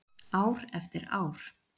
Ár eftir ár.